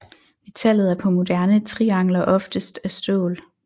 Metallet er på moderne triangler oftest af stål